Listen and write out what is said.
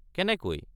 —কেনেকৈ?